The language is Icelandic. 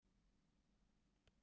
Kaus að trúa á hana.